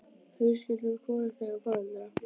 Að við skyldum hvorugt eiga foreldra.